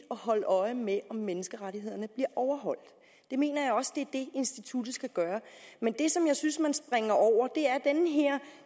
at holde øje med om menneskerettighederne bliver overholdt jeg mener også det er det instituttet skal gøre men det som jeg synes man springer over